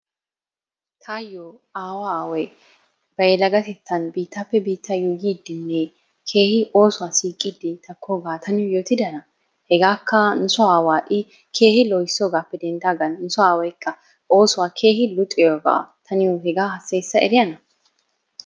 Tayyo aawa aaway ba yelagetettan biittappe biitta yuutidinne keehi oosuwa siiqide takkooga ta niyo yootidana. Hegakka i nu aawa keehin lohissoogappe denddagan nu soo aawaykka oosuwa keehin luxiyooga ta niyo hega hassayssa eriyaana?